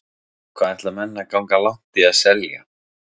Hvað ætla menn að ganga langt í að selja.